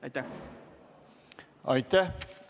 Aitäh!